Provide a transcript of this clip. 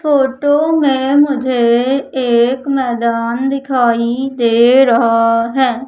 Photo में मुझे एक मैदान दिखाई दे रहा है।